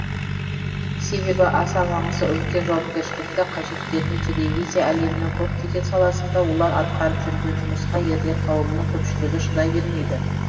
себебі аса маңызды үлкен жауапкершілікті қажет ететін телевизия әлемінің көптеген саласында олар атқарып жүрген жұмысқа ерлер қауымының көпшілігі шыдай бермейді